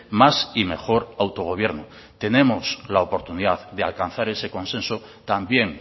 más y mejor autogobierno tenemos la oportunidad de alcanzar ese consenso también